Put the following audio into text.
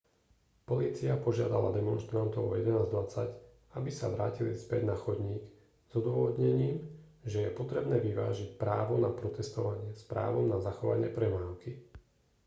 polícia požiadala demonštrantov o 11:20 aby sa vrátili späť na chodník s odôvodnením že je potrebné vyvážiť právo na protestovanie s právom na zachovanie premávky